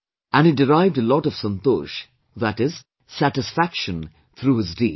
And he derived a lot of Santosh, that is, satisfaction through his deed